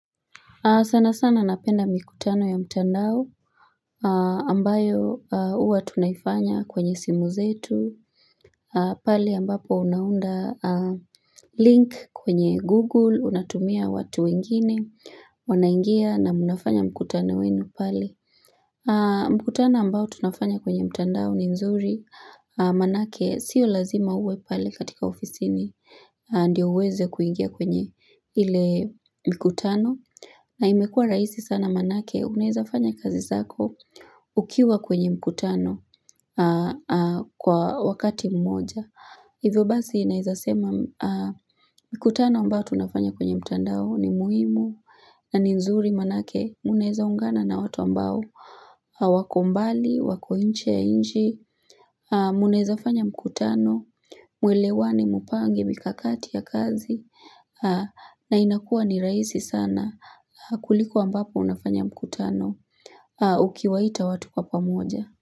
Sana sana napenda mikutano ya mtandao ambayo huwa tunaifanya kwenye simu zetu. Pale ambapo unaunda link kwenye Google, unatumia watu wengine, wanaingia na mnafanya mkutano wenyu pale. Mkutano ambao tunafanya kwenye mtandao ni nzuri, manake sio lazima uwe pale katika ofisini. Ndio uweze kuingia kwenye ile mkutano na imekua rahisi sana manake unaeza fanya kazi zako ukiwa kwenye mkutano kwa wakati mmoja hivyo basi naeza sema mkutano ambao tunafanya kwenye mtandao ni muhimu na nzuri manake unaeza ungana na watu ambao wako mbali, wako nje ya nchi unaeza fanya mkutano, muelewane mupange, mikakati ya kazi na inakua ni rahisi sana kuliko ambapo unafanya mkutano ukiwaita watu kwa pamoja.